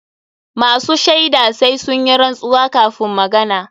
Masu shaida sai sun yi rantsuwa kafun magana.